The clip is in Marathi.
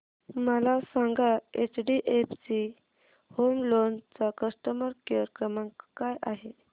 मला सांगा एचडीएफसी होम लोन चा कस्टमर केअर क्रमांक काय आहे